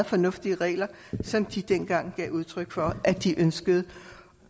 fornuftige regler som de dengang gav udtryk for at de ønskede